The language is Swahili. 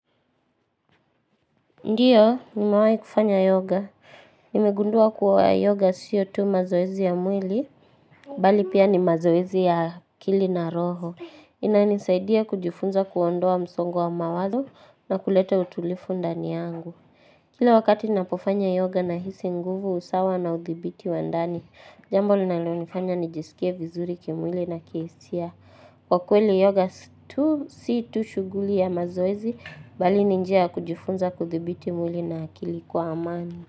Ndiyo, nimewai kufanya yoga. Nimegundua kuwa yoga siyo tu mazoezi ya mwili, bali pia ni mazoezi ya akili na roho. Inanisaidia kujifunza kuondoa msongo wa mawazo na kulete utulifu ndani yangu. Kila wakati napofanya yoga nahisi nguvu usawa na udhibiti wa ndani, jambo linalonifanya nijisikie vizuri kimwili na kihisia. Kwa kweli yoga si tu shuguli ya mazoezi, bali ni njia ya kujifunza kudhibiti mwili na akili kwa amani.